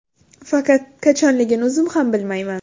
Faqat qachonligini o‘zim ham bilmayman.